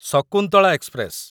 Shakuntala express